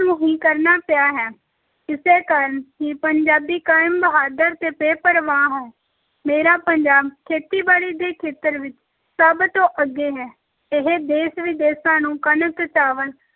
ਨੂੰ ਹੀ ਕਰਨਾ ਪਿਆ ਹੈ, ਇਸੇ ਕਾਰਨ ਹੀ ਪੰਜਾਬੀ ਕੌਮ ਬਹਾਦਰ ਤੇ ਬੇਪ੍ਰਵਾਹ ਹੈ, ਮੇਰਾ ਪੰਜਾਬ ਖੇਤੀਬਾੜੀ ਦੇ ਖੇਤਰ ਵਿੱਚ ਸਭ ਤੋਂ ਅੱਗੇ ਹੈ, ਇਹ ਦੇਸ ਵਿਦੇਸਾਂ ਨੂੰ ਕਣਕ, ਚਾਵਲ,